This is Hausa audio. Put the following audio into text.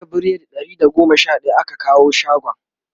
jiya biredi Ɗari da goma Sha daya aka kawo shagon